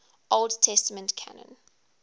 old testament canon